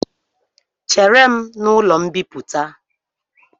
Chere m n’ụlọ mbịpụta